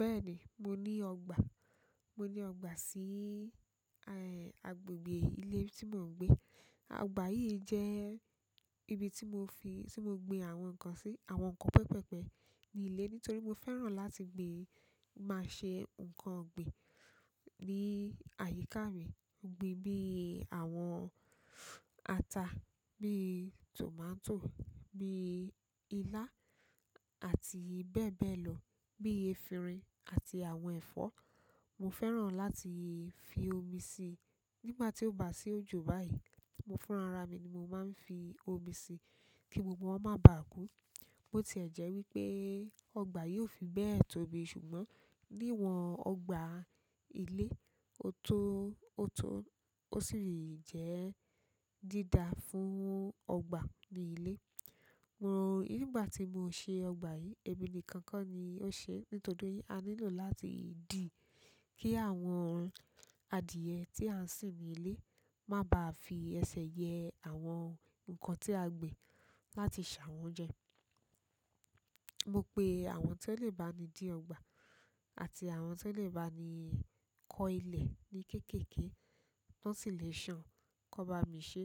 Bẹ́ẹ̀ni, mo ní ọgbà. Mo ni ọgbà si agbègbè ile ti mo n gbe. Ọgbà yìí jẹ́ ibi tí mo fi, tí mo gbin àwọn nǹkan sí, àwọn nǹkan pẹpẹpẹ ní ilé, nítorí mo fẹ́ràn láti gbin. Máa ṣe nǹkan ọ̀gbìn ní àyíká mi, ọ̀gbìn bí i àwọn ata, bí i tòmátò, bí i ilá àti bẹ́ẹ̀ bẹ́ẹ̀ lọ, bí i efinrin àti àwọn ẹ̀fọ́. Mo fẹ́ràn láti fi omi sí nígbà tí ó bá sí òjò báyìí. Mo fún ara mi ni mo máa ń fi omi sí kí gbogbo wọn má bà kú. Bo ti ẹ̀ jẹ́ wípé ọgbà yìí o fi bẹ́ẹ̀ tóbi ṣùgbọ́n níwọn ọgbà ilé, ó tó, ó tó, ó sì lè jẹ́ dídá fún ọgbà ní ilé. Nígbà ti mo se ọgbà yìí, emi nìkan ko ni mo se, nítorí aa nílò láti di ki àwọn adiye ti aa n sin ni ile ma ba fi ese ye àwọn nǹkan ti a gbin láti sa won je. Mo pé àwọn tó lè bá mi dí ọgbà àti àwọn tó lè bá mi kọ ilẹ̀ ní kéékèèké, wọ́n sì lè ṣàn kó bá mi ṣe.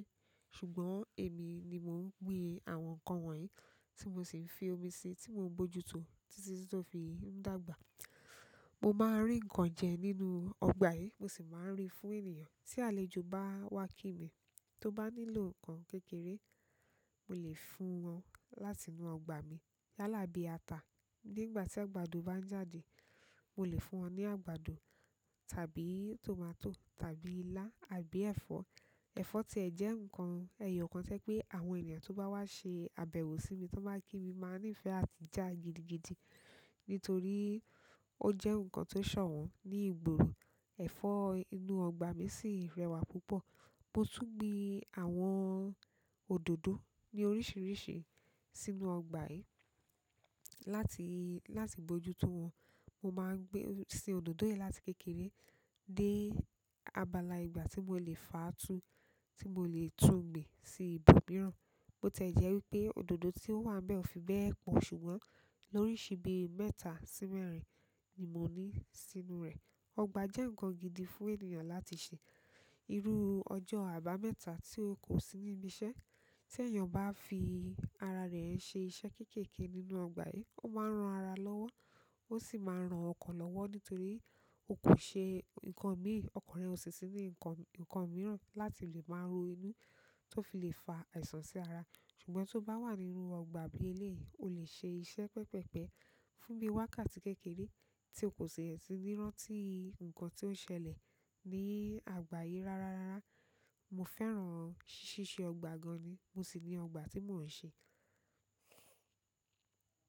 Ṣùgbọ́n èmi ni mo ń gbin àwọn nǹkan wọ̀nyí tí mo sì fi omi sí i tí mò ń mojútó títí tó fi ń dàgbà. Mo maa n ri nkan je nínú ọgbà yen, mo si maa n ri fún ènìyàn tí àlejò bá wá kí mi, tó bá nílò nǹkan kékeré, mo lè fún wọn láti inú ọgbà mi. Láàlá bí i ata. Nígbà tí àgbàdo bá ń jáde, mo lè fún wọn ní àgbàdo tàbí tòmátò tàbí ilá àbí ẹ̀fọ́. Ẹ̀fọ́ ti ẹ̀ jẹ́ nǹkan ẹ̀yo kan to je pé àwọn ènìyàn tó bá wá ṣe àbẹ̀wò sí mi, tó bá kí mi, máa nífẹ́ àti jà gidigidi, nítorí ó jẹ́ nǹkan tó ṣọ̀wọ́n ní ìgboro. Ẹ̀fọ́ inú ọgbà mi sì rẹwà púpọ̀. Mo tún gbin àwọn òdòdó ní oríṣiríṣi sínú ọgbà yìí láti, láti mojútó wọn. Mo man gbe si ododo yen láti kékeré de àgbàlá egba ti mo le faa tu, ti mo le tun gbi si ibòmíràn bo ti ẹ̀ jẹ́ wípé òdòdó tí ó wà n bẹ́ ò fi bẹ́ẹ̀ pọ̀ ṣùgbọ́n lóríṣi bí i mẹ́ta sí mẹ́rin ni mo ní sínú rẹ̀. Ọgbà jẹ́ nǹkan gidi fún ènìyàn láti ṣe. Irú ọjọ́ àbámẹ́ta tí o kò sí níbi iṣẹ́, tí èèyàn bá fi ara rẹ̀ ṣe iṣẹ́ kéékèèké nínú ọgbà yìí, ó máa ran ara lọ́wọ́. Ó sì máa ran ọkan lọ́wọ́ nítorí ó kò ṣe nǹkan míì, ọkan rẹ̀ ò sí sí ní nǹkan, nǹkan mìíràn láti lè máa ro inú tó fi lè fa àìsàn sí ara. Ṣùgbọ́n tó bá wà nínú ọgbà bí i ilé yìí, o lè ṣe iṣẹ́ pẹpẹpẹ fún bí i wákàtí kékeré tí o kò ṣe ẹ̀ ti ní rán tí nǹkan tí ó ṣẹlẹ̀ ní ọgbà yìí rárárára. Mo fẹ́ràn ṣíṣe ọgbà gan ni, mo sì ní ọgbà tí mò ń ṣe.